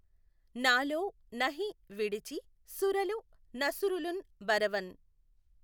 నాలో నహి విడిచి సురలు నసురులుఁ బఱవం